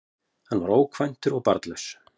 Hann var ókvæntur og barnlaus